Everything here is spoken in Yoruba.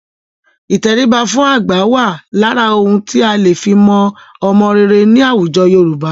Ìtẹríba fún àgbà wà lára ohun tí a lè fi mọ ọmọ rere ní àwùjọ Yorùbá.